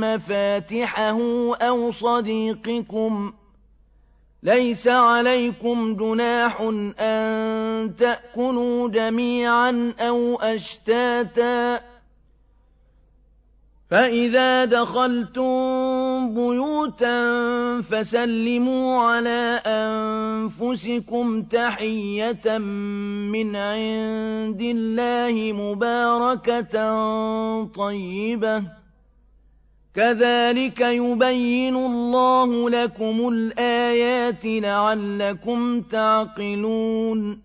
مَّفَاتِحَهُ أَوْ صَدِيقِكُمْ ۚ لَيْسَ عَلَيْكُمْ جُنَاحٌ أَن تَأْكُلُوا جَمِيعًا أَوْ أَشْتَاتًا ۚ فَإِذَا دَخَلْتُم بُيُوتًا فَسَلِّمُوا عَلَىٰ أَنفُسِكُمْ تَحِيَّةً مِّنْ عِندِ اللَّهِ مُبَارَكَةً طَيِّبَةً ۚ كَذَٰلِكَ يُبَيِّنُ اللَّهُ لَكُمُ الْآيَاتِ لَعَلَّكُمْ تَعْقِلُونَ